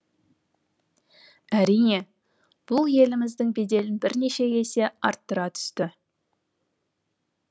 әрине бұл еліміздің беделін бірнеше есе арттыра түсті